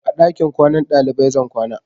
A ɗakin kwanan ɗalibai zan kwana.